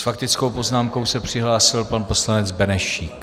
S faktickou poznámkou se přihlásil pan poslanec Benešík.